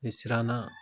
Ne siranna